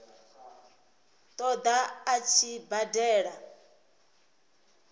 ṱo ḓa a tshi badela